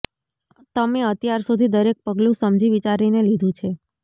તમે અત્યાર સુધી દરેક પગલુ સમજી વિચારીને લીધું છે